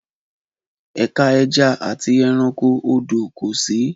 Ẹ̀ka ẹja àti ẹranko odò kò sí